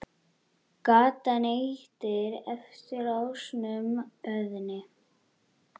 Gatan heitir eftir ásnum Óðni.